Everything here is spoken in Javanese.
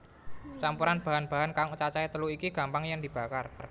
Campuran bahan bahan kang cacahé telu iki gampang yèn dibakar